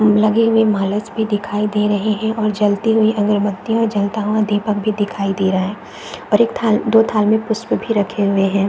लगे हुए भी दिखाई दे रहे हैं और जलते हुए अगरबत्तियाँ ओ जलता हुआ दीपक भी दिखाई दे रहा है और एक थाल दो थाल में पुष्प भी रखे हुए हैं।